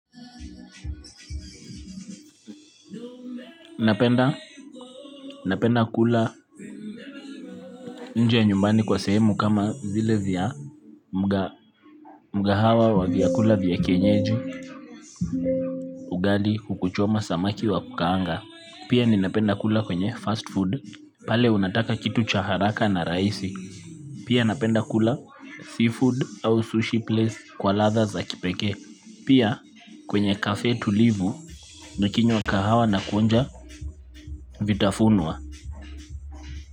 Napenda kula nje nyumbani kwa sehemu kama zile vya mgahawa wa vyakula vya kienyeji ugali kuku choma samaki wa kukaanga. Pia ninapenda kula kwenye fast food pale unataka kitu cha haraka na rahisi. Pia napenda kula sea food au sushi place kwa latha za kipeke. Pia kwenye cafe tulivu nikinywa kahawa na kuonja vitafuna.